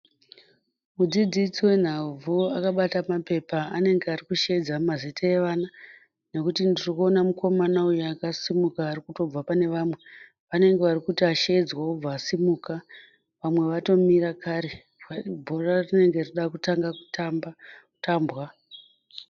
Mudzidzisi wenhabvu akabata mapepa anenge arikusheedza mazita evana nokuti ndirikuona mukomana uyo akasimuka arikutobva pane vamwe, vanenge varikuti asheedzwa obva asimuka. Vamwe vatomira kare, bhora rinenge rava kuda kutanga kutambwa.